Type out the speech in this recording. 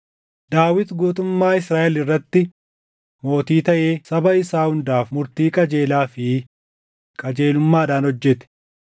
Daawit guutummaa Israaʼel irratti mootii taʼee saba isaa hundaaf murtii qajeelaa fi qajeelummaadhaan hojjete.